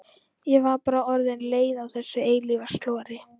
Ég var bara orðin leið á þessu eilífa slori.